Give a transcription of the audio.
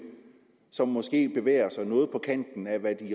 som måske bevæger sig noget på kanten af hvad